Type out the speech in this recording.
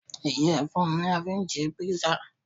Iyẹfun ní a fí n ṣe písà